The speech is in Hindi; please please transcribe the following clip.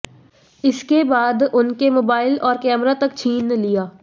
इसके बाद उनके मोबाइल और कैमरा तक छीन लिया